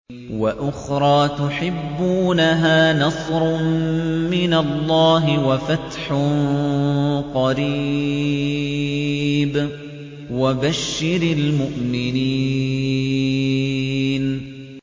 وَأُخْرَىٰ تُحِبُّونَهَا ۖ نَصْرٌ مِّنَ اللَّهِ وَفَتْحٌ قَرِيبٌ ۗ وَبَشِّرِ الْمُؤْمِنِينَ